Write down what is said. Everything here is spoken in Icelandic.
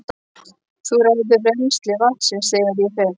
Þú ræður rennsli vatnsins þegar ég fer.